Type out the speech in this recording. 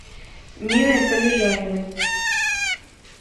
ниной полежаевой